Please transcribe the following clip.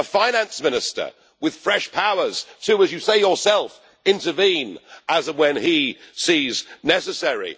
a Finance Minister with fresh powers to as you say yourself intervene as and when he sees necessary